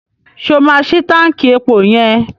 Ṣé o máa ṣi táǹkì epo yẹn?